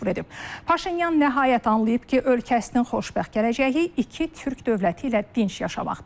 Paşinyan nəhayət anlayıb ki, ölkəsinin xoşbəxt gələcəyi iki türk dövləti ilə dinc yaşamaqdadır.